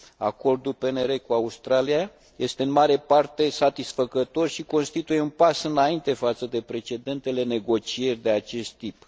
Acordul PNR cu Australia este în mare parte satisfăcător și constituie un pas înainte față de precedentele negocieri de acest tip.